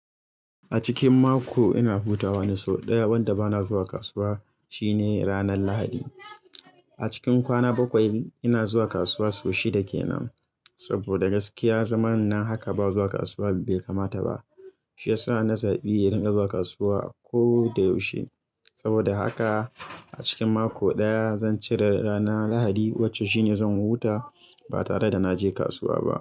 A cikin mako ina hutawa ne sau ɗaya wanda bana zuwa kasuwa shine ranar lahadi. A cikin kwana bakwai ina zuwa kasuwa sau shida kenan. Saboda gaskiya zaman nan haka ba zuwa kasuwa bai kamata ba. Shi ya sa na zaɓi in dinga zuwa kasuwa ko da yaushe. Saboda haka a cikin mako ɗaya zan cire ranar lahadi wacce shine zan huta ba tare da na je kasuwa ba.